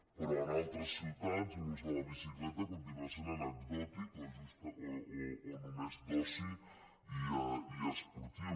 però en altres ciutats l’ús de la bicicleta continua sent anecdòtic o només d’oci i esportiu